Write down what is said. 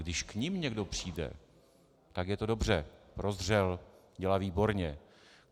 Když k nim někdo přijde, tak je to dobře, prozřel, dělá výborně.